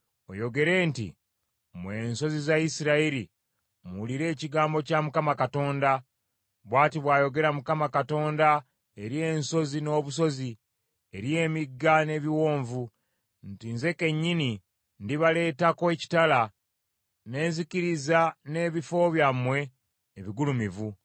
oyogere nti, ‘Mmwe ensozi za Isirayiri, muwulire ekigambo kya Mukama Katonda. Bw’ati bw’ayogera Mukama Katonda eri ensozi n’obusozi, eri emigga n’ebiwonvu, nti, Nze kennyini ndibaleetako ekitala ne nzikiriza n’ebifo byammwe ebigulumivu.